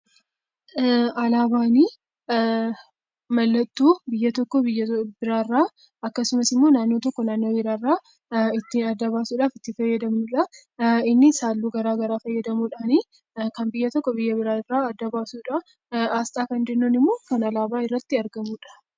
Alaabaan mallattoo biyya tokko biyya biraa irraa akkasumas naannoo tokko naannoo biraa irraa ittiin adda baasuudhaaf itti fayyadamnudha. Innis halluu garaagaraa fayyadamuudhaan kan biyya tokko biyya biraa irraa adda baasuudhaaf. Asxaa jechuun immoo kan alaabaa irratti argamudha.